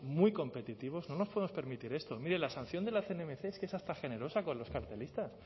muy competitivos no nos podemos permitir esto mire la sanción de la cnmc es que es hasta generosa con los cartelistas